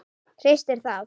Hristir það.